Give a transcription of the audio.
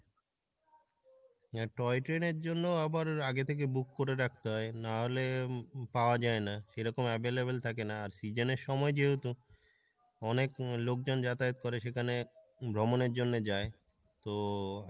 হ্যাঁ toy train এর জন্য আবার আগে থেকে book করে রাখতে হয় নাহলে পাওয়া যাই না সেরকম available থাকে না, আর season এর সময় যেহেতু অনেক লোক জন যাতায়াত করে সেখানে ভ্রমণের জন্য যাই, তো